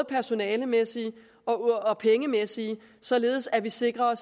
personalemæssige og de pengemæssige således at vi sikrer